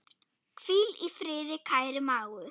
Hvíl í friði, kæri mágur.